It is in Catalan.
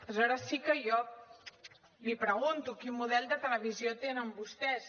aleshores sí que jo li pregunto quin model de televisió tenen vostès